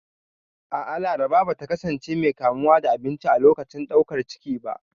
A'a, Laraba ba ta kasance mai kamuwa da abinci a lokacin ɗaukar ciki ba.